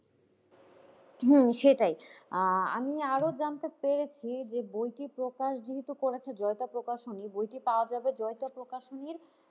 হম সেটাই আহ আমি আরো জানতে পেরেছি যে বইটি প্রকাশ যেহেতু করেছে জয়িতা প্রকাশনী বইটি পাওয়া হবে জয়িতা প্রকাশনীর,